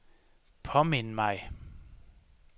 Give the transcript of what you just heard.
påmind mig